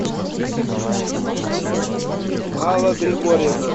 алла григорьевна